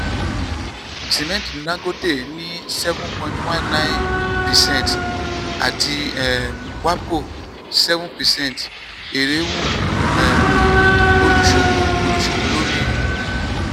sìmẹ́ntì dangote ní seven point one nine percent àti um wapco seven percent èrè wú um olùsòwò olùsòwò lórí. um